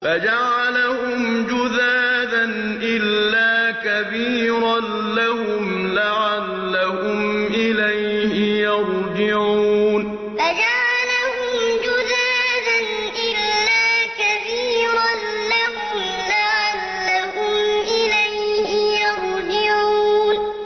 فَجَعَلَهُمْ جُذَاذًا إِلَّا كَبِيرًا لَّهُمْ لَعَلَّهُمْ إِلَيْهِ يَرْجِعُونَ فَجَعَلَهُمْ جُذَاذًا إِلَّا كَبِيرًا لَّهُمْ لَعَلَّهُمْ إِلَيْهِ يَرْجِعُونَ